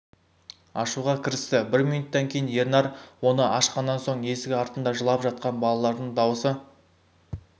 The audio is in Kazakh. ашуға кірісті бір минуттан кейін ернар оны ашқаннан соң есік артында жылап жатқан балалардың дауысы